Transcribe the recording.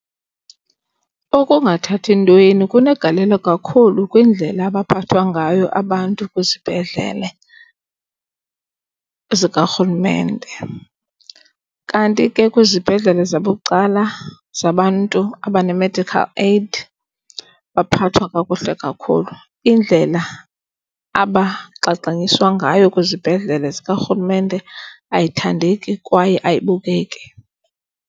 Okungathathi ntweni kunegalelo kakhulu kwindlela abaphathwa ngayo abantu kwizibhedlele zikaRhulumente. Kanti ke kwizibhedlele zabucala zabantu abane-medical aid baphathwa kakuhle kakhulu. Indlela abagxagxaniswa ngayo kwizibhedlele zikaRhulumente ayithandeki kwaye ayibukeki.